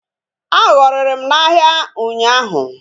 A họrịrị m n'ahịa ụnyaahụ